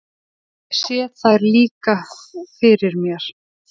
Ég sé þær líka fyrir mér.